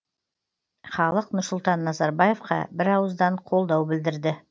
халық нұрсұлтан назарбаевқа бірауыздан қолдау білдірді